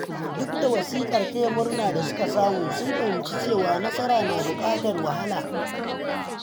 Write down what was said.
Duk da wasikar taya murna da suka samu, sun fahimci cewa nasara na buƙatar wahala.